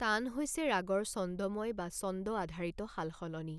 তান হৈছে ৰাগৰ ছন্দময় বা ছন্দ আধাৰিত সালসলনি।